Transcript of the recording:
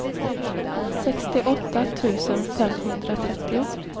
sextioåtta tusen femhundratrettio